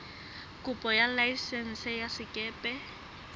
kopo ya laesense ya sekepe